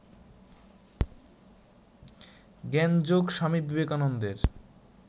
জ্ঞানযোগ স্বামী বিবেকানন্দের